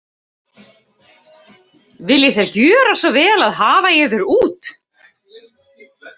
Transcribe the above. Viljið þér gjöra svo vel og hafa yður út.